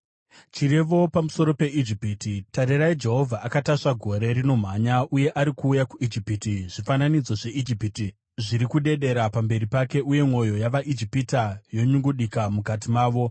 Chirevo pamusoro peIjipiti: Tarirai, Jehovha akatasva gore rinomhanya, uye ari kuuya kuIjipiti. Zvifananidzo zveIjipiti zviri kudedera pamberi pake, uye mwoyo yavaIjipita yonyungudika mukati mavo.